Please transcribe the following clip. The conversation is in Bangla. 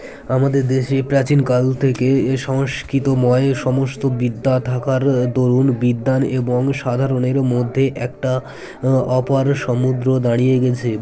আমাদের দেশে প্রাচীন কাল থেকে এ সংস্কৃতময় সমস্ত বিদ্যা থাকার দরুন বিদ্বান এবং সাধারনের মধ্যে একটা অপার সমুদ্র দাঁড়িয়ে গেছে